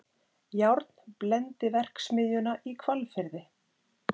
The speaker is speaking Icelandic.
Járnblendiverksmiðjuna í Hvalfirði.